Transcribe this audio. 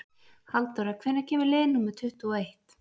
Halldóra, hvenær kemur leið númer tuttugu og eitt?